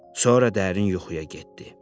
Sonra dərin yuxuya getdi.